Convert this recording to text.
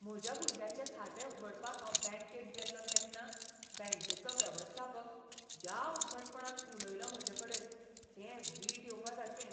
म्हज्या भुरग्याचें खातें उगडपाक हांव बॅंकेत गेल्लों तेन्ना बॅंकेचो वेवस्थापक ज्या उद्धटपणान उलयलो म्हजेकडेन तें वीट येवपासारकें